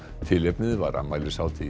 tilefnið var afmælishátíð